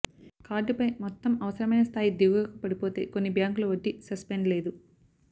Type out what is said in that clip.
కార్డుపై మొత్తం అవసరమైన స్థాయి దిగువకు పడిపోతే కొన్ని బ్యాంకులు వడ్డీ సస్పెండ్ లేదు